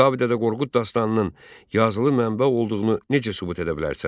Kitabi Dədə Qorqud dastanının yazılı mənbə olduğunu necə sübut edə bilərsən?